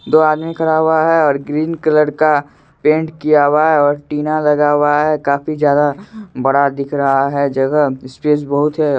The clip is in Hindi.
दो आदमी खड़ा हुआ है और ग्रीन कलर का पेंट किया हुआ है और टीना लगा हुआ है काफी ज्यादा बड़ा दिख रहा है जगह स्पेस बहुत है।